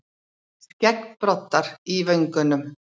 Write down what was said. Skeggbroddar í vöngunum.